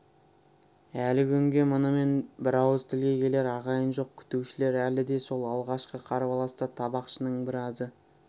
әлі күнге мұнымен бірауыз тілге келер ағайын жоқ күтушілер әлі де сол алғашқы қарбаласта табақшының біразы